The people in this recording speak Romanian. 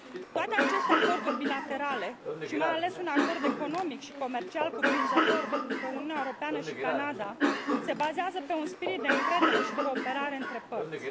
Toate aceste acorduri bilaterale și mai ales un acord economic și comercial cuprinzător dintre Uniunea Europeană și Canada se bazează pe un spirit de încredere și cooperare între părți.